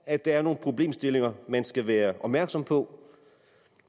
at der er nogle problemstillinger man skal være opmærksom på